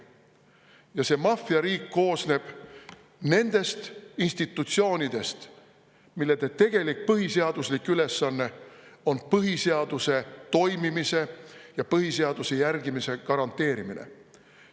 Ja see maffiariik koosneb nendest institutsioonidest, mille tegelik põhiseaduslik ülesanne on põhiseaduse toimimise ja põhiseaduse järgimise garanteerimine.